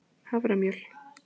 haframjöl